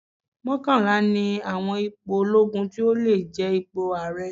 Mọ́kànlá ni àwọn ipò olóogun tí ó lè jẹ ipò ààrẹ.